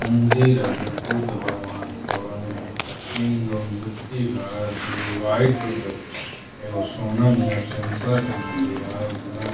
मंदिर हवे बुद्ध भगवान क। तीन गो मूर्ति बा दू गो वाइट रंग के एगो सोना नियन चमकता मुर्तिया। उपरा --